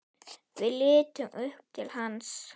Við litum upp til hans.